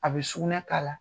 A bɛ sugunɛ k'a la!